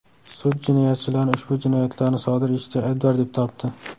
Sud jinoyatchilarni ushbu jinoyatlarni sodir etishda aybdor deb topdi.